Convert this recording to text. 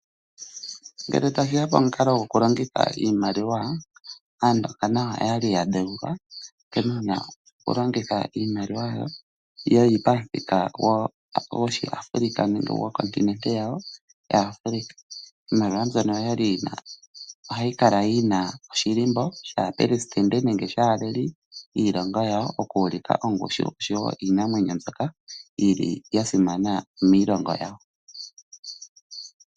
Ngele tashi ya pamukalo gokulongitha iimaliwa, Aandonga nayo oya li ya dheulwa nkene wu na okulongitha iimaliwa yi li pamuthika gOshiafrika nenge gwenenevi lyawo lyaAfrika. Iimaliwa mbyono ohayi kala yi na omathano gaapelesidente nenge gaaleli yiilongo yawo oku ulika ongushu noshowo iinamwenyo mbyoka ya simana miilongo yawo.